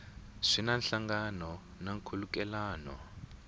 swi na nhlangano na nkhulukelano